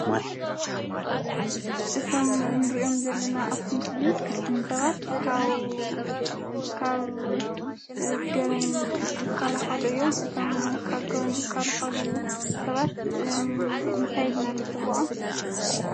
እቶም ንሪኦም ዘለና ኣብ'ቲ ምስሊ ሰባት ካብ ገበን ዝከላከሉ እዮም:: እቶም ካብ ገበን ዝከላከሉ ሰባት እንታይ ኢልና ንፅውዕም?